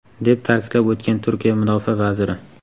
deb ta’kidlab o‘tgan Turkiya mudofaa vaziri.